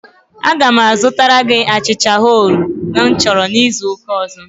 Aga m azụtara gị achịcha chole bhature izu ụka ọzọ.